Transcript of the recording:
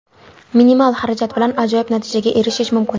Minimal xarajat bilan ajoyib natijaga erishish mumkin!